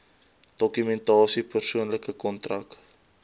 dokumentasie persoonlike kontak